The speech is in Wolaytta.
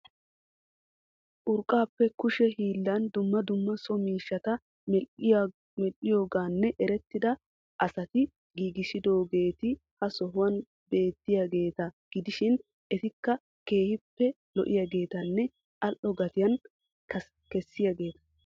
Urqqappe kushe hiillan dumma dumma so miishshata medhdhiyoogan erettida asati giigissidoogeeti ha sohuwan beettiyaageeta gidishin etikka keehippe lo"iyaageetanne al"o gatiyaa kessiyaageeta.